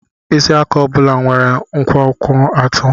Mkpịsị aka ọ bụla nwere nkwonkwo atọ.